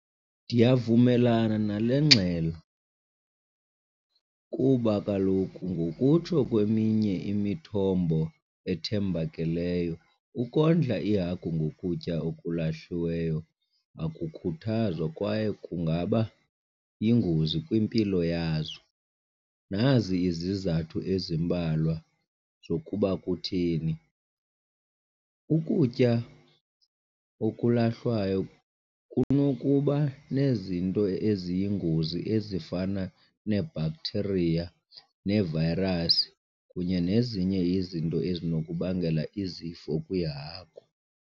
Ndiyavumelana nale ngxelo kuba kaloku ngokutsho kweminye imithombo ethembakeleyo ukondla iihagu ngokutya okulahliweyo akukhuthazwa kwaye kungaba yingozi kwimpilo yazo. Nazi izizathu ezimbalwa zokuba kutheni. Ukutya okulahlwayo kunokuba nezinto eziyingozi ezifana nee-bacteria nee-virus kunye nezinye izinto ezinokubangela izifo kwiihagu.